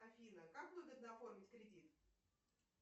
афина как выгодно оформить кредит